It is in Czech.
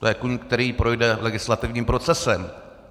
To je kůň, který projde legislativním procesem.